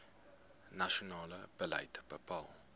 nasionale beleid bepaal